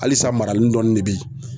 Halisa marali dɔɔni de bɛ yi.